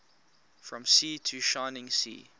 from sea to shining sea